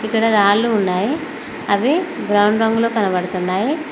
ఇక్కడ రాళ్లు ఉన్నాయి అవి రౌండ్ రంగులో కనబడుతున్నాయి.